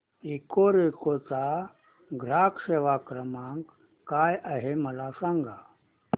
Ecoreco चा ग्राहक सेवा क्रमांक काय आहे मला सांग